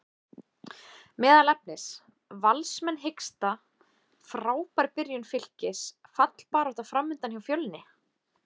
Meðal efnis: Valsmenn hiksta, Frábær byrjun Fylkis, fallbarátta framundan hjá Fjölni?